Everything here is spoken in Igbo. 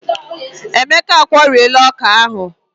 Emeka a kwụọlarịị ọkà ahụ.